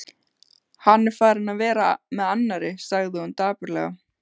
Hann er farinn að vera með annarri, sagði hún dapurlega.